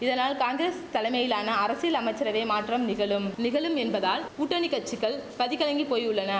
இதனால் காங்கிரஸ் தலைமையிலான அரசில் அமைச்சரவை மாற்றம் நிகழும் நிகழும் என்பதால் கூட்டணி கச்சிகள் கதி கலங்கி போயுள்ளன